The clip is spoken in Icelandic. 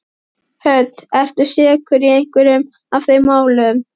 Hödd: Ertu sekur í einhverju af þeim málum?